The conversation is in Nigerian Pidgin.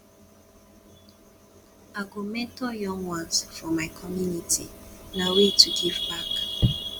i go mentor young ones for my community na way to give back